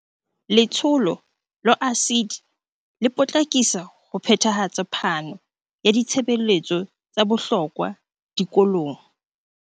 Letsholo la ASIDI le potlakisa ho phethahatsa phano ya ditshebeletso tsa bohlokwa dikolong.